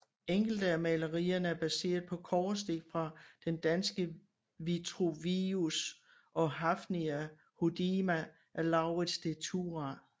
Enkelte af malerierne er baseret på kobberstik fra Den Danske Vitruvius og Hafnia Hodierna af Laurids de Thurah